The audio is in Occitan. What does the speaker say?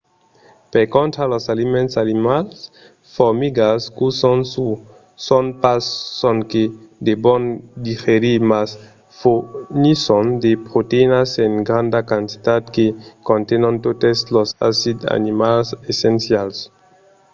per contra los aliments animals formigas cussons uòus son pas sonque de bon digerir mas fornisson de proteïnas en granda quantitat que contenon totes los acids aminats essencials